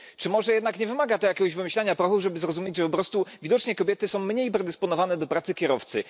Czy może jednak nie wymaga to jakiegoś wymyślania prochu, żeby zrozumieć, że po prostu widocznie kobiety są mniej predysponowane do pracy kierowcy?